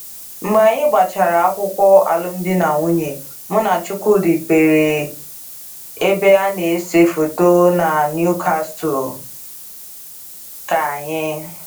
Mgbe anyi gbachara akwụkwo alụm di na nwunye, mụ na chukwudi mpere ebe a na ese foto na Newcastle ka anyi